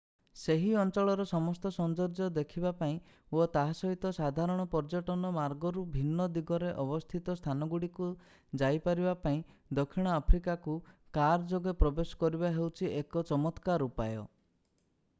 ସେହି ଅଞ୍ଚଳର ସମସ୍ତ ସୌନ୍ଦର୍ଯ୍ୟ ଦେଖିବା ପାଇଁ ଓ ତାହା ସହିତ ସାଧାରଣ ପର୍ଯ୍ୟଟନ ମାର୍ଗରୁ ଭିନ୍ନ ଦିଗରେ ଅବସ୍ଥିତ ସ୍ଥାନଗୁଡ଼ିକୁ ଯାଇପାରିବା ପାଇଁ ଦକ୍ଷିଣ ଆଫ୍ରିକାକୁ କାର ଯୋଗେ ପ୍ରବେଶ କରିବା ହେଉଛି ଏକ ଚମତ୍କାର ଉପାୟ